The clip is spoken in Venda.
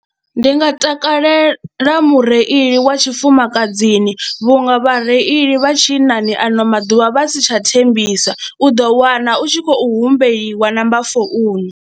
Ndi nga takalela mureili wa tshifumakadzini vhunga vhareili vha tshinnani ano maḓuvha vha si tsha thembisa u ḓo wana u tshi khou humbeliwa namba founu.